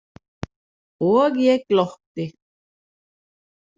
Og ég glotti.